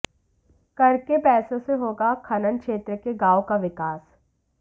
कर के पैसे से होगा खनन क्षेत्र के गांवों का विकास